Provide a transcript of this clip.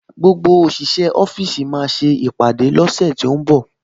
Gbogbo òṣìṣẹ́ ọ́fíìsì máa ṣe ìpàdé lọ́sẹ̀ tó ń bọ̀